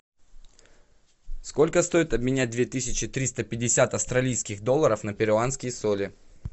сколько стоит обменять две тысячи триста пятьдесят австралийских долларов на перуанские соли